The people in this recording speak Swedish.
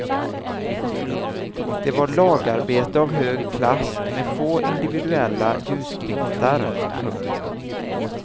Det var lagarbete av hög klass med få individuella ljusglimtar. punkt